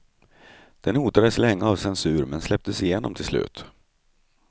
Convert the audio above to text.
Den hotades länge av censur men släpptes igenom till slut.